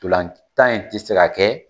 Tolan tan in tɛ se ka kɛ